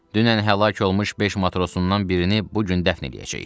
Dünən həlak olmuş beş matrosundan birini bu gün dəfn eləyəcəyik.